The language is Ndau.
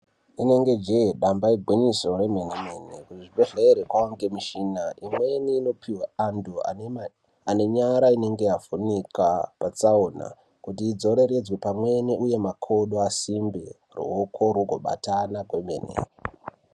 Inenge jee nyamba igwinyiso remenemene kuzvibhedhlere kwaane mishina imweni inopihwa anenge anenyara inenge yavhunika patsaona kuti idzoreredzwe pamweni uye makodo asimbe ruoko rugobatana kwemene